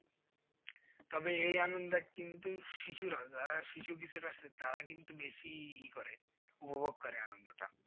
তবে এই আনন্দ কিন্তু শিশুরা যারা শিশু কিশোর আছে তারা কিন্তু বেশি ই করে উপভোগ করে আনন্দটা।